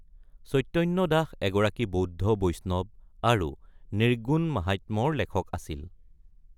চৈতন্য দাস এগৰাকী বৌদ্ধ বৈষ্ণৱ আৰু নিৰ্গুণ মাহাত্ম্যৰ লেখক আছিল।